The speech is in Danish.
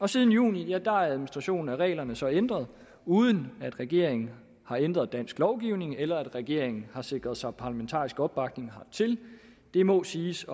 siden juni er administrationen af reglerne så ændret uden at regeringen har ændret dansk lovgivning eller regeringen har sikret sig parlamentarisk opbakning hertil det må siges